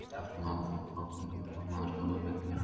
Eftir að maður fór í bakvörðinn fór maður að skora miklu meira.